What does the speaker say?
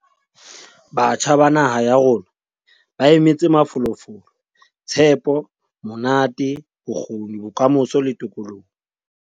Batjha ba naha ya rona ba emetse mafolofolo, tshepo, monate, bokgoni, bokamoso le tokoloho.